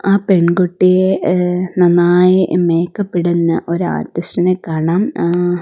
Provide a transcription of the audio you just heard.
ആ പെൺകുട്ടിയെ ഏഹ് നന്നായി മേക്കപ്പിടുന്ന ഒരു ആർട്ടിസ്റ്റിനെ കാണാം ആ--